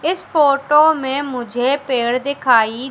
इस फोटो में मुझे पेड़ दिखाई--